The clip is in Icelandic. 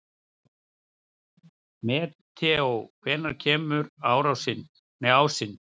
Mateó, hvenær kemur ásinn?